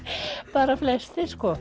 bara flestir sko